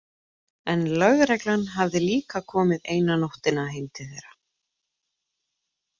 En lögreglan hafði líka komið eina nóttina heim til þeirra.